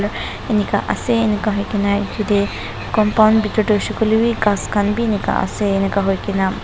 enika ase enika hoikae nayate compound bitor tae hoishey koilae bi ghas khan bi enika ase hoikaena--